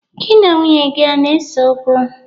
Gị na nwunye gị ana-eseokwu?